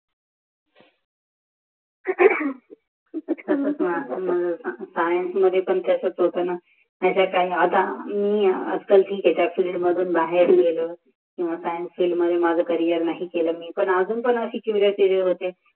science मध्ये पण तसंच होत न आता मी आता फील मध्ये बाहेर यालोये स्किएन्के मध्ये मी नाही केले मे मानून अजून पणन